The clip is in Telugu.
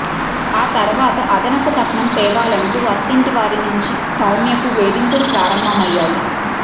ఆ తర్వాత అదనపు కట్నం తేవాలంటూ అత్తింటి వారి నుంచి సౌమ్యకు వేధింపులు ప్రారంభమయ్యాయి